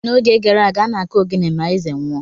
N’oge gara aga, a na-akụ ogene ma eze nwụọ.